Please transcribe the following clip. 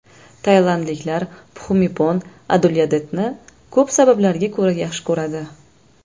Tailandliklar Pxumipon Adulyadetni ko‘p sabablarga ko‘ra yaxshi ko‘radi.